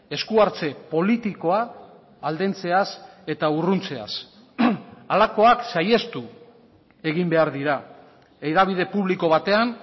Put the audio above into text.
esku hartze politikoa aldentzeaz eta urruntzeaz halakoak saihestu egin behar dira hedabide publiko batean